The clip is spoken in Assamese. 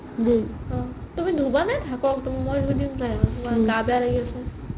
তুমি ধুবা নে থাকক মই ধুই দিম দে গা বেয়া লাগি আছে